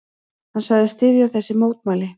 Hann sagðist styðja þessi mótmæli.